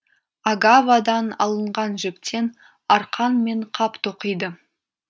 агавадан алынған жіптен арқан мен қап тоқиды